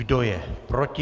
Kdo je proti?